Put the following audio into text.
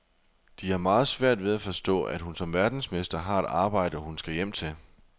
De har meget svært ved at forstå, at hun som verdensmester har et arbejde, hun skal hjem til.